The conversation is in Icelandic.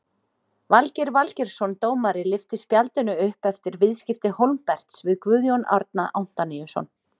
Valgeir Valgeirsson dómari lyfti spjaldinu upp eftir viðskipti Hólmberts við Guðjón Árna Antoníusson.